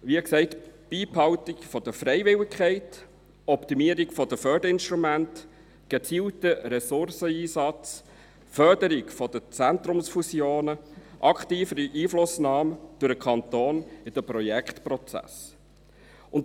Wie gesagt: Beibehaltung der Freiwilligkeit, Optimierung der Förderinstrumente, gezielten Ressourceneinsatz, Förderung von Zentrumsfusionen, aktivere Einflussnahme durch den Kanton in den Projektprozessen.